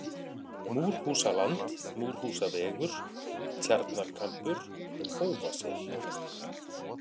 Múrhúsaland, Múrhúsavegur, Tjarnarkambur, Hófasel